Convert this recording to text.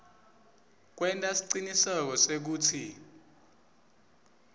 kwenta siciniseko sekutsi